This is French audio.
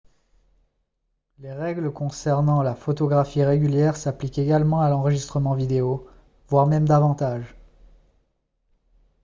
les règles concernant la photographie régulière s'appliquent également à l'enregistrement vidéo voire même davantage